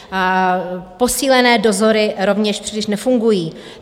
Posílené dozory rovněž příliš nefungují.